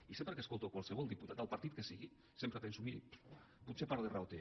i sempre que escolto qualsevol diputat del partit que sigui sempre penso miri potser part de raó té